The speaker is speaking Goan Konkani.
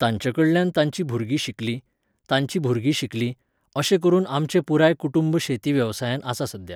तांच्या कडल्यान तांचीं भुरगीं शिकलीं, तांचीं भुरगीं शिकलीं, अशें करून आमचें पुराय कुटूंब शेती वेवसायांत आसा सद्द्या.